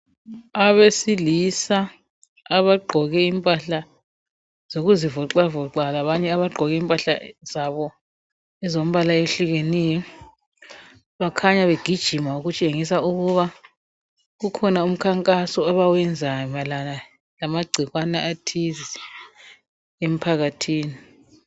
Abesilisa abagqoke impahla zokuzivoxavoxa labanye abagqoke impahla zabo ezombala ohlukeneyo. Bakhanya begijima okutshengisa ukuba kukhona umkhankaso abawenzayo mayelana lama gcikwane athize emphakathini.